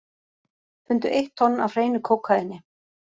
Fundu eitt tonn af hreinu kókaíni